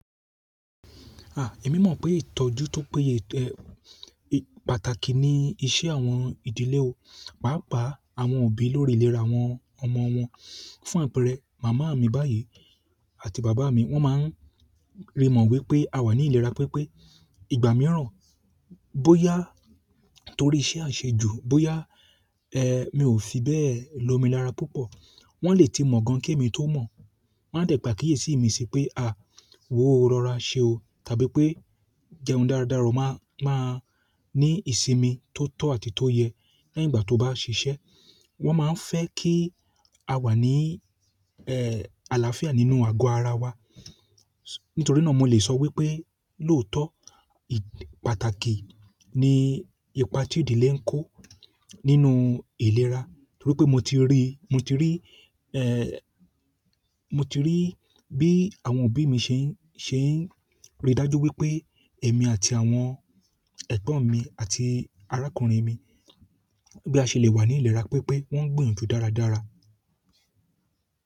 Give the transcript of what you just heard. Ah! Èmi mọ̀ pé ìtọ́jú tó péye, eh, pàtàkì ní iṣẹ́ àwọn ìdílé o. Pàápàá àwọn òbí lórí ìlera àwọn ọmọ wọn. Fún àpẹẹrẹ, màmá mi báyìí àti bàbá mi wọ́n máa ń rí mọ̀ wípé a wà ní ìlera pípé. Ìgbà mìíràn bóyá torí iṣẹ́ a ń ṣe ju, bóyá, eh, mi ò fi bẹ́ẹ̀ lọ́mi lára púpọ̀. Wọ́n lè ti mọ̀ gan-an kí èmi tó mọ̀. Won de pe àkíyèsí si pe a wo rọra se o tàbí pe jẹun dáadáa o maa maa ni ìsinmi to to àti to ye lẹ́yìn ìgbà to ba sise. Wọ́n máa ń fẹ́ kí a wà ní, ẹ́ẹ́, àlàáfíà nínú ago ara wa. Nítorí náà mo lè sọ wípé lóòótọ́, ì-- pàtàkì ni ipa tí ìdílé ń kó nínú ìlera. Nítorí pé mo ti rí, mo ti rí, eh, mo ti rí bí àwọn òbí mi ṣe ń, ṣe ń rí dájú wípé èmi àti àwọn ẹ̀gbọ́n mi àti arákùnrin mi, bí a ṣe lè wà ní ìlera pípé, wọ́n ń gbinyanju dáradára.